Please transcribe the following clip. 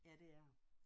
Ja det er der